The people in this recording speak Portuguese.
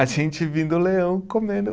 A gente vendo leão, comendo.